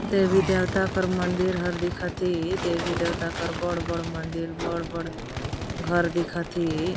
देवी -देवता कर मंदिर हर दिखत है देवी -देवता कर बड़-बड़ मंदिर बड़-बड़ घर दिखत हे।